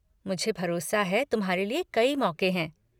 मुझे भरोसा है कि तुम्हारे लिए कई मौक़े हैं।